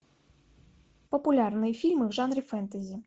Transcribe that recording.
популярные фильмы в жанре фэнтези